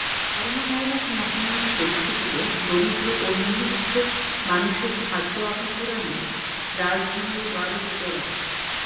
coronavirus মহামারি পরিস্থিতিতে দরিদ্র ও নিম্নবিত্ত মানুষের খাদ্য অভাব পূরণে রাজধানীর ওয়ারির জোড়প